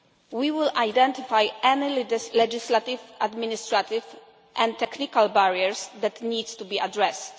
We will identify any legislative, administrative and technical barriers that need to be addressed.